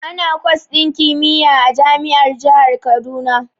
Ana kwas din kimiyya a jami'ar jihar Kaduna.